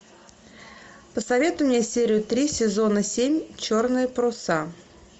посоветуй мне серию три сезона семь черные паруса